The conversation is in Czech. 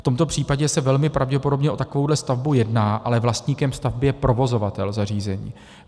V tomto případě se velmi pravděpodobně o takovou stavbu jedná, ale vlastníkem stavby je provozovatel zařízení.